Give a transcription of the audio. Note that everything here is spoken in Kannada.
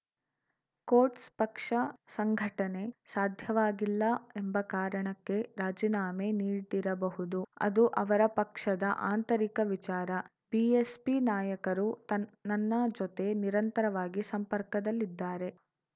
ಕೋಟ್ಸ್‌ ಪಕ್ಷ ಸಂಘಟನೆ ಸಾಧ್ಯವಾಗಿಲ್ಲ ಎಂಬ ಕಾರಣಕ್ಕೆ ರಾಜೀನಾಮೆ ನೀಡಿರಬಹುದು ಅದು ಅವರ ಪಕ್ಷದ ಆಂತರಿಕ ವಿಚಾರ ಬಿಎಸ್‌ಪಿ ನಾಯಕರು ನನ್ನ ಜೊತೆ ನಿರಂತರವಾಗಿ ಸಂಪರ್ಕದಲ್ಲಿದ್ದಾರೆ